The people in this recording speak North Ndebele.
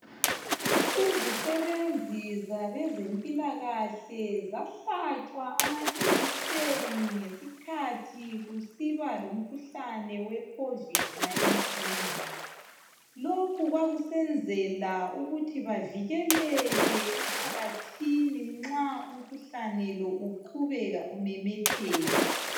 Izisebenzi zabezempilakahle zahlatshwa amajekiseni ngesikhathi kusiba lomkhuhlane we COVID19. Lokhu kwakusenzela ukuthi bavikeleke emphakathini nxa umkhuhlane lo uqhubeka umemetheka.